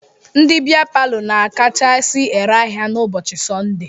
Ndị bịa palọ na-akachasi ere ahịa n'ụbọchị Sọndee.